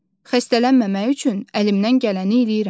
Xəstələnməmək üçün əlimdən gələni eləyirəm.